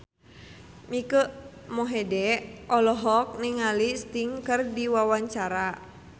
Mike Mohede olohok ningali Sting keur diwawancara